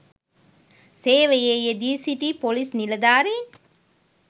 සේවයේ යෙදී සිටි පොලිස් නිලධාරීන්